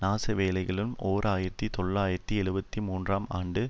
நாசவேலைகளும் ஓர் ஆயிரத்தி தொள்ளாயிரத்தி எழுபத்து மூன்றுஆம் ஆண்டு